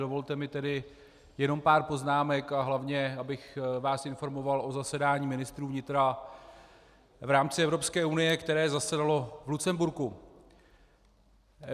Dovolte mi tedy jenom pár poznámek, a hlavně abych vás informoval o zasedání ministrů vnitra v rámci Evropské unie, které zasedalo v Lucemburku.